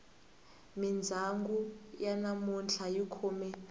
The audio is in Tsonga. mindyangu ya namuntlha yi khome